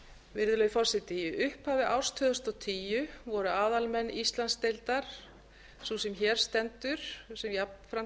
virðulegi forseti í upphafi árs tvö þúsund og tíu voru aðalmenn íslandsdeildar sú sem hér stendur og sem jafnframt